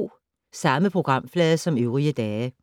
Samme programflade som øvrige dage